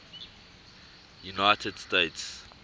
united states